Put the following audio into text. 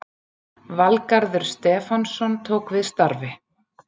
Valgarður Stefánsson tók við starfi